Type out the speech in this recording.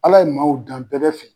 Ala ye maaw dan bɛɛ bɛ fɛ